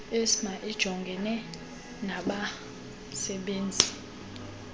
icma ijongene nabasebenzisi